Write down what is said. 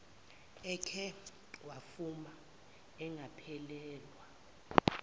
eke wavuma angaphelelwa